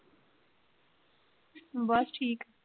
ਬਸ ਠੀਕ।